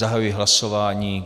Zahajuji hlasování.